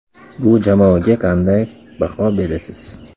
Bu jamoaga qanday baho berasiz ?